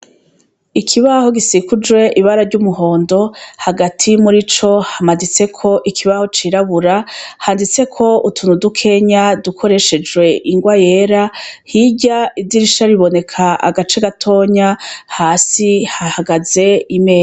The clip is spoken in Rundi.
Ikibaho gikikujwe ibara ry' umuhondo hagati muri co hamaditseko ikibaho cirabura handitseko utuntu dukenya dukoreshejwe ingwa yera hirya idirisha riboneka agace gatoya hasi hahagaze imeza.